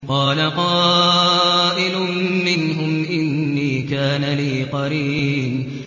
قَالَ قَائِلٌ مِّنْهُمْ إِنِّي كَانَ لِي قَرِينٌ